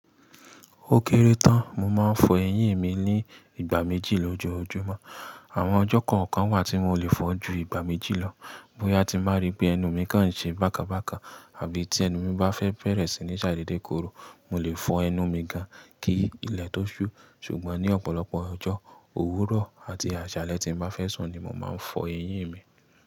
Ó kéré tán, mo máa ń fọ eyín mi ní ìgbà méjì lójoojúmọ́. Àwọn ọjọ́ kọ̀ọ̀kan wà tí mò lè fọ ju ìgbà méjì lọ. Bóyá tí màá rí pé ẹnu mi kan ń ṣe bákan bákan àbí tí ẹnu mi bá fẹ́ bẹ̀rẹ̀ sí ní ṣàídedekòro, mo lè fọ ẹnu mi gan-an kí ilẹ̀ tó ṣú. Ṣùgbọ́n ní ọ̀pọ̀lọpọ̀ ọjọ́, òwúrọ̀ àti àṣálẹ́ tí mò máa fẹ́ sùn ni mò máa ń fọ eyín mi.